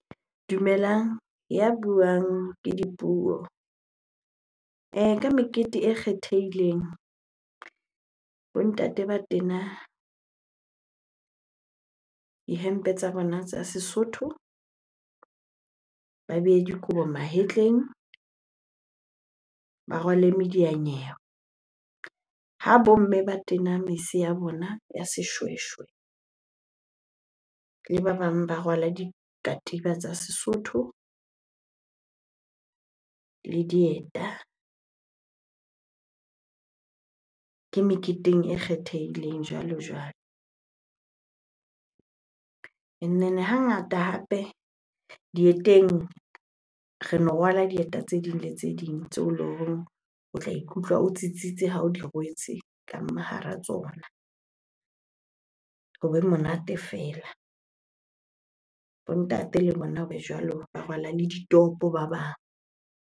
Dumelang, ya buang ke Dipuo. Mekete e kgethehileng bo ntate ba tena dihempe tsa bona tsa Sesotho, ba behe dikobo mahetleng, ba rwale medianyewe. Ha bo mme ba tena mese ya bona ya seshweshwe, le ba bang ba rwala dikatiba tsa Sesotho le dieta. Ke meketeng e kgethehileng jwalo-jwalo. Hangata hape dieteng, reno rwala dieta tse ding le tse ding tse eleng horeng o tla ikutlwa o tsitsitse ha o di rwetse ka hara tsona hobe monate fela. Bo ntate le bona hobe jwalo, ba rwala le ditopo ba bang.